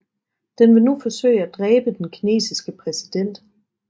Den vil nu forsøge at dræbe den kinesiske præsident